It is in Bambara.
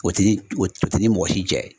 O t'i ni o t'i ni mɔgɔ si jɛ